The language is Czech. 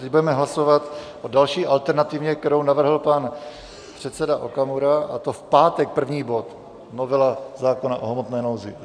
Teď budeme hlasovat o další alternativě, kterou navrhl pan předseda Okamura, a to v pátek první bod, novela zákona o hmotné nouzi.